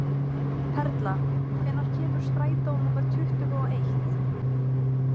Perla, hvenær kemur strætó númer tuttugu og eitt?